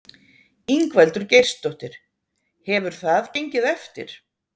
Ingveldur Geirsdóttir: Hefur það gengið eftir?